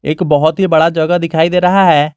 एक बहुत ही बड़ा जगह दिखाई दे रहा है।